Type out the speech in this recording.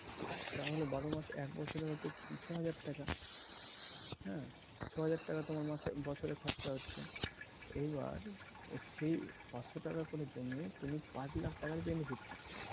তাহলে বারো মাস এক বছরে হচ্ছে ছ হাজার টাকা হ্যাঁ ? ছ হাজার টাকা তোমার মাসে বছরে খরচ হচ্ছে এইবার সেই পাঁচশ টাকা করে জমিয়ে তুমি পাঁচ লাখ টাকার benefit পাচ্ছ